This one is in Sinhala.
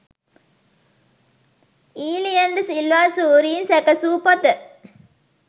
ඊලියන් ද සිල්වා සූරීන් සැකැසූ පොත